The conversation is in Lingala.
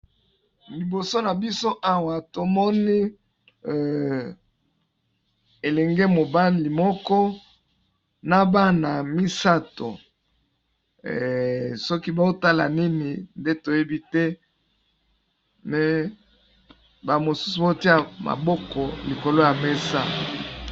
Liboso na biso Awa tomoni elenge mobali moko nabana misatu sokî bazo tala Nini toyebite mais bamosusu bazo tiya maboko na likolo ya mesa.